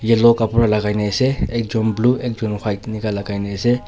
Yellow kapra lagaina ase ekjun blue ekjun white enika lagaina ase.